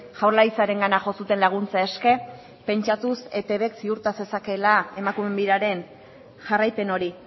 jaurlaritzarengana jo zuten laguntza eske pentsatuz eitbk ziurta zezakeela emakumeen biraren jarraipen hori